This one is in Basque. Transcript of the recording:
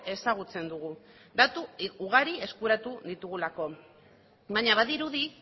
ezagutzen dugu datu ugari eskuratu ditugulako baina badirudi